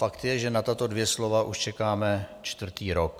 Fakt je, že na tato dvě slova už čekáme čtvrtý rok.